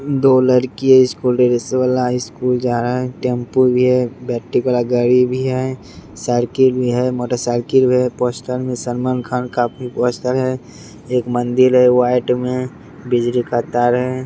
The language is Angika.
दो लड़की इस स्कूल ड्रेस वाला स्कूल जा रहा है टेम्पू भी है बैटरी वाला गाड़ी भी है साइकिल भी है मोटरसाइकिल है पोस्टर मे सलमान खान का पोस्टर है एक मंदिर है व्हाइट में बिजली का तार है।